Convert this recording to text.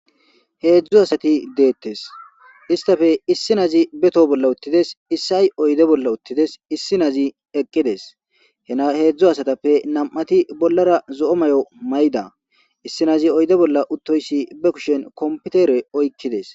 heedzdzu asati deettes istafe issi nazi beto bolla uttides issi ay oyde bolla uttides issi nazi eqqides hena heedzdzu asatappe nam7ati bollara zo7o may7o mayda issi nazi oyde bolla uttoyssi be kushen kompitere oykkides